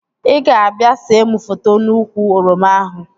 Ị ga-abịa see mụ foto n'úkwù oroma ahụ